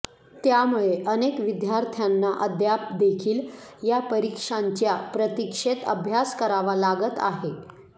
त्यामुळे अनेक विद्यार्थ्यांना अद्याप देखील या परीक्षांच्या प्रतीक्षेत अभ्यास करावा लागत आहे